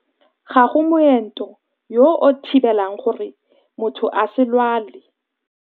Ga go moento yo o thibelang gore motho a se lwale.